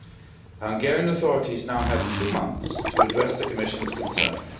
The Hungarian authorities now have two months to address the Commission's concerns